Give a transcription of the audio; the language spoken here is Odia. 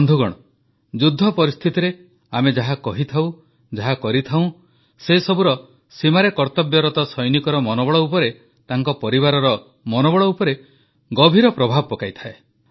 ବନ୍ଧୁଗଣ ଯୁଦ୍ଧ ପରିସ୍ଥିତିରେ ଆମେ ଯାହା କହିଥାଉ ଯାହା କରିଥାଉଁ ସେସବୁର ସୀମାରେ କର୍ତ୍ତବ୍ୟରତ ସୈନିକର ମନୋବଳ ଉପରେ ତାଙ୍କ ପରିବାରର ମନୋବଳ ଉପରେ ଗଭୀର ପ୍ରଭାବ ପକାଇଥାଏ